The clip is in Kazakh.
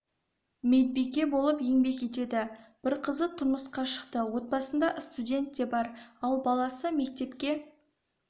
медбике болып еңбек етеді бір қызы тұрмысқа шықты отбасында студент те бар ал баласы мектепке